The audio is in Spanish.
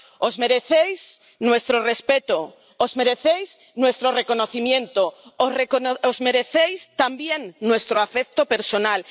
Os merecéis nuestro respeto, os merecéis nuestro reconocimiento, os merecéis también nuestro afecto personal.